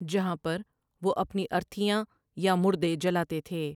جہان پر وہ اپنی ارتھیاں یا مردے جلاتے تھے ۔